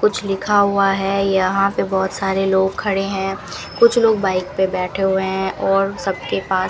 कुछ लिखा हुआ है यहां पे बहुत सारे लोग खड़े हैं कुछ लोग बाइक पर बैठे हुए हैं और सबके पास --